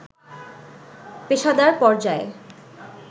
পেশাদার পর্যায়ে